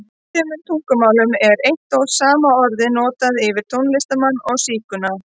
Í sumum tungumálum er eitt og sama orðið notað yfir tónlistarmann og sígauna.